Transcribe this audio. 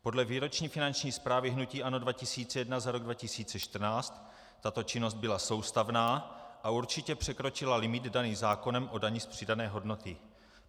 Podle výroční finanční zprávy hnutí ANO 2011 za rok 2014 tato činnost byla soustavná a určitě překročila limit daný zákonem o dani z přidané hodnoty.